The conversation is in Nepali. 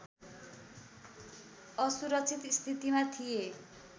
असुरक्षित स्थितिमा थिए